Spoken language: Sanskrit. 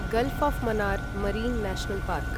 gulf of Mannar Marine National park